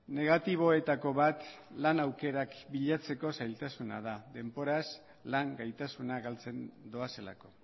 negatiboetako bat lan aukerak bilatzeko zailtasuna da denboraz lan gaitasuna galtzen doazelako